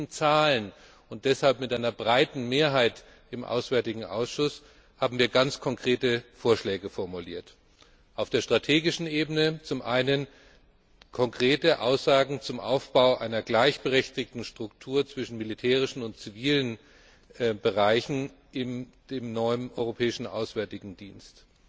Auf diesen Zahlen und deshalb mit einer breiten Mehrheit im Ausschuss für auswärtige Angelegenheiten haben wir ganz konkrete Vorschläge formuliert auf der strategischen Ebene konkrete Aussagen zum Aufbau einer gleichberechtigten Struktur zwischen militärischen und zivilen Bereichen in dem neuen Europäischen Auswärtigen Dienst